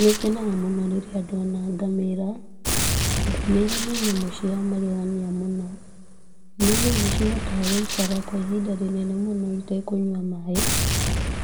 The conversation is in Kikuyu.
Nĩngenaga mũno rĩrĩa ndona ngamĩra, ngamĩra nĩ nyamũ cia magegania mũno, nĩ nyamũ cihotaga gũikara kwa ihinda rĩnene mũno itekũnyua maaĩ,